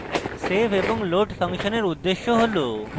save এবং load function এর উদ্দেশ্য হল: